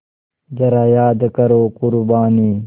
ज़रा याद करो क़ुरबानी